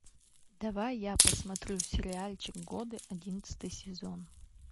давай я посмотрю сериальчик годы одиннадцатый сезон